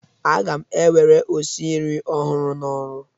Aga m ewere osinri ọhụrụ n'ọrụ.